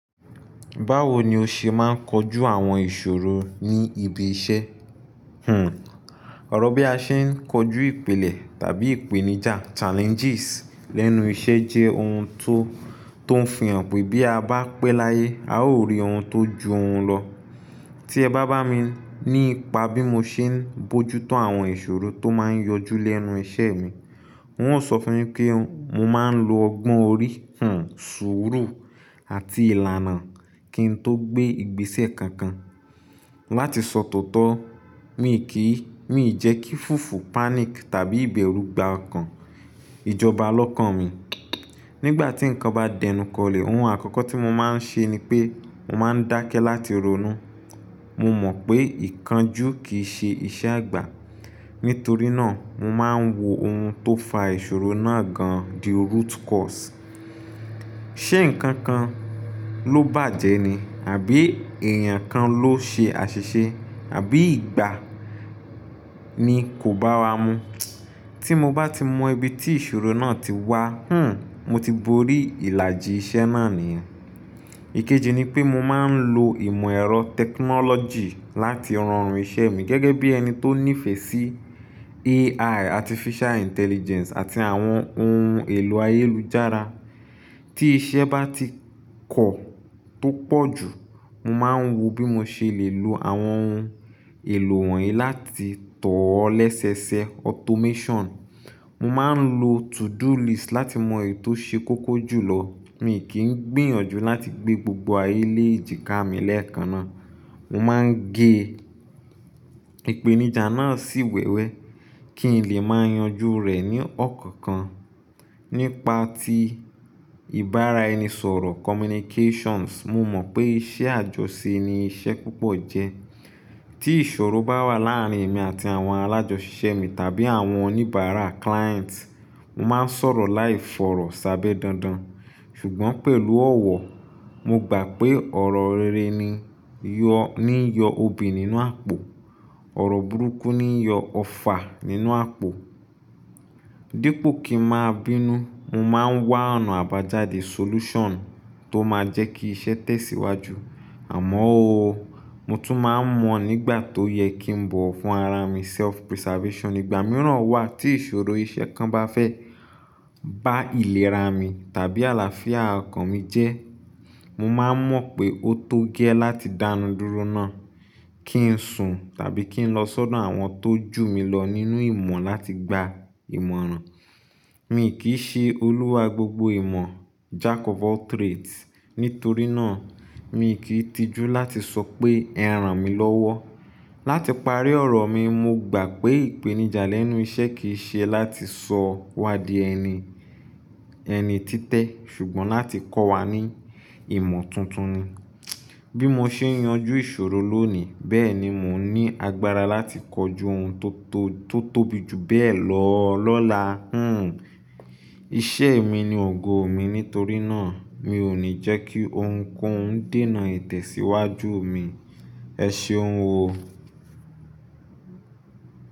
Báwo ni o ṣe máa ń kojú àwọn ìṣòro ní ibi iṣẹ́? Hmm, ọ̀rọ̀ bí a ṣe ń kojú ìpìlẹ̀ tàbí ìpèníjà challenges lẹ́nu iṣẹ́ jẹ́ ohun tó, tó ń fihàn pé bí a bá pẹ́ láyé, a ó rí ohun tó ju òun lọ. Tí ẹ bá bá mi nípa bí mo ṣe ń bojútó àwọn ìṣòro tó máa ń yọjú lẹ́nu iṣẹ́ mi, n óò sọ fún ẹ pé mo máa ń lo ọgbọ́n orí, hmm, sùúrù àti ìlànà kí n tó gbé ìgbésẹ̀ kankan. Láti sọ tọ̀ọ̀tọ̀, mi kìí, mi ò jẹ́ kí fufu panic tàbí ìbẹ̀rù gba ọkàn, ìjọba lọ́kàn mi. Nígbà tí nǹkan bá dẹnukọlẹ̀, ohun àkọ́kọ́ tí mo máa ń ṣe ni pé mo máa ń dákẹ́ láti ronú. Mo mọ̀ pé ìkánjú kì í ṣe iṣẹ́ àgbà. Nítorí náà, mo máa ń wo ohun tó fa ìṣòro náà gan-an, the root cause. Ṣé ǹkan kan ló bàjẹ́ ni? Àbí èèyàn kan ló ṣe àṣìṣe? Àbí ìgbà ni kò bá wa mu? Tí mo bá ti mọ ibi tí ìṣòro náà ti wá, hmm, mo ti borí ìlàjì iṣẹ́ náà nìyẹn. Ikeji ni pé mo máa ń lo ìmọ̀ ẹ̀rọ technology láti ranrun iṣẹ́ mi gẹ́gẹ́ bí ẹni tó nífẹ̀ẹ́ sí AI, artificial intelligence àti àwọn ohun èlò ayélujára. Tí iṣẹ́ bá ti kọ̀ tó pọ̀ jù, mo máa ń wo bí mo ṣe lè lo àwọn ohun èlò wọ̀nyí láti tọ̀ ọ́ lẹ́sẹẹsẹ, automation. Mo máa ń lo to-do list láti mọ èyí tó ṣe kókó jù lọ. Mi kì í gbìyànjú láti gbé gbogbo ayé lèjìká mi lẹ́ẹ̀kan ná. Mo máa ń gé ìpèníjà náà sí wẹ́wẹ́ kí n lè máa yanjú rẹ̀ ní ọ̀kọ̀ọ̀kan. Nípa tí ìbára ẹni sọ̀rọ̀ communications, mo mọ̀ pé iṣẹ́ àjọṣe ni iṣẹ́ púpọ̀ jẹ́. Tí ìṣòro bá wà láàárín èmi àti àwọn alájọṣise mi tàbí àwọn oníbàárà client, mo máa ń sọ̀rọ̀ láìfọ̀rọ̀ sábẹ́ dandan. Ṣùgbọ́n pẹ̀lú ọ̀wọ̀, mo gbà pé ọ̀rọ̀ rere níi yọ obì nínú àpò. Ọ̀rọ̀ burúkú ni yọ ọfà nínú àpò. Dípo kí n máa bínú, mo máa ń wá ọ̀nà àbájáde solution tó máa jẹ́ kí iṣẹ́ tẹ̀síwájú. Àmọ́ ó, mo tún máa ń mọ̀ nígbà tó yẹ kí n bọ̀ wọ́n fún ara mi, self preservation. Ìgbà mìíràn wà tí ìṣòro iṣẹ́ kan bá fẹ́ bá ìlera mi tàbí àlàáfíà ọkàn mi jẹ́, mo máa ń mọ̀ pé ó tó gẹ́ láti dánudúró náà. Kí ń sùn tàbí kí ń lọ sọ́dọ̀ àwọn tó ju mi lọ nínú ìmọ̀ láti gba ìmọ̀ràn. Mi kì í ṣe olúwa gbogbo ìmọ̀, jack of all trades. Nítorí náà, mi ò kì í tijú láti sọ pé ẹran mi lọ́wọ́. Láti parí ọ̀rọ̀ mi, mo gbà pé ìpèníjà lẹ́nu iṣẹ́ kì í ṣe láti sọ wá di ẹni, ẹni títẹ̀, ṣùgbọ́n láti kọ́ wa ní ìmọ̀ tuntun ni. Bí mo ṣe ń yanjú ìṣòro lónìí, bẹ́ẹ̀ ni mò ń ní agbára láti kojú ohun tó tó, tó tóbi jù bẹ́ẹ̀ lọ lọ́la, hmm. Iṣẹ́ mi ni ògo mi, nítorí náà mi ò ní jẹ́ kí ohunkóhun dènà ìtẹ̀síwájú mi. Ẹ ṣeun o.